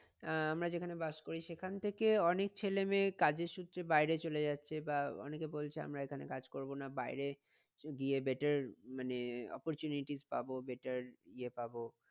আহ আমরা যেখানে বাস করি সেখান থেকে অনেক ছেলে মেয়ে কাজের সূত্রে বাইরে চলে যাচ্ছে। বা অনেকে বলছে আমরা এখানে কাজ করবো না বাইরে গিয়ে better মানে opportunities পাবো better ইয়ে পাবো।